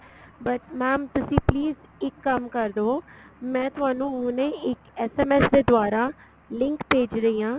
but mam ਤੁਸੀਂ please ਇੱਕ ਕੰਮ ਕਰਦੋ ਮੈਂ ਤੁਹਾਨੂੰ ਹੁਣੇ ਇੱਕ SMS ਦੇ ਦੁਵਾਰਾ link ਭੇਜ ਰਹੀ ਆ